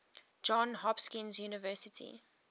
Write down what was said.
johns hopkins university